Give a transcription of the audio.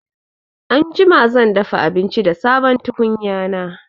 Anjima zan dafa abinci da sabon tukunya na